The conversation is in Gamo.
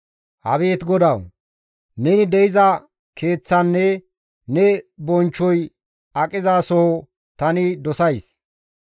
Abeet GODAWU! Neni de7iza keeththanne ne bonchchoy aqizasoho tani dosays.